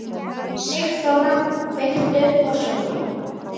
Sigþóra, kveiktu á sjónvarpinu.